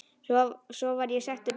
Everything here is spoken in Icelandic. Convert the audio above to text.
Svo var ég settur út.